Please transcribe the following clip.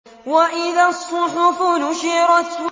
وَإِذَا الصُّحُفُ نُشِرَتْ